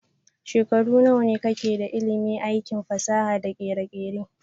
Shekaru nawane ka ke da ilimin aikin fasaha da kere-kere?